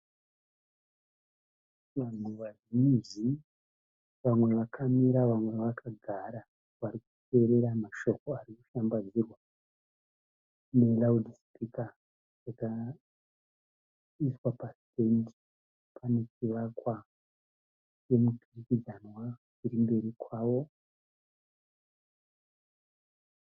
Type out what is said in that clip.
Vanhu vazhinji vamwe vakamira vamwe vakagara vari kuteerera mashoko ari kushambadzirwa neraudhi sipika yakaiswa pasenda pane chivakwa chemuturikidzanwa chiri mberi kwavo.